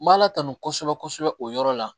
N b'a la tanu kosɛbɛ kosɛbɛ o yɔrɔ la